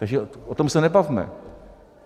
Takže o tom se nebavme.